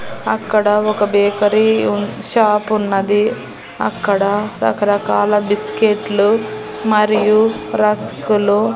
అక్కడ ఒక బేకరీ ఉన్ షాపున్నది అక్కడ రకరకాల బిస్కెట్లు మరియు రస్కులు--